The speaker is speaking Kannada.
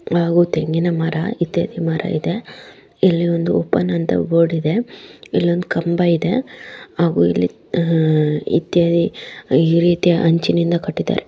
ಹಾಗು ತೆಂಗಿನ ಮರ ಇತ್ಯಾದಿ ಮರ ಇದೆ ಇಲ್ಲೊಂದು ಓಪನ್ ಅಂತ ಬೋರ್ಡ್ ಇದೆ ಇಲ್ಲೊಂದು ಕಂಬ ಇದೆ ಹಾಗು ಇಲ್ಲಿ ಆ ಇತ್ಯಾದಿ ಈ ರೀತಿಯ ಅಂಚಿನಿಂದ ಕಟ್ಟಿದ್ದಾರೆ.